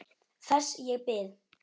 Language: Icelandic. Þess ég bið.